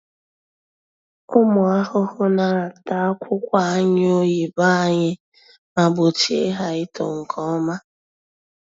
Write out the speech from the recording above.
Ụmụ ahụhụ na-ata akwụkwọ anyụ oyibo anyị ma gbochie ha ito nke ọma.